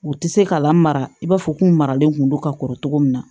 U tɛ se ka lamaga i b'a fɔ k'u maralen kun don ka kɔrɔ togo min na